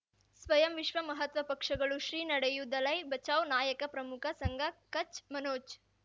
ಸ್ವಯಂ ವಿಶ್ವ ಮಹಾತ್ಮ ಪಕ್ಷಗಳು ಶ್ರೀ ನಡೆಯೂ ದಲೈ ಬಚೌ ನಾಯಕ ಪ್ರಮುಖ ಸಂಘ ಕಚ್ ಮನೋಜ್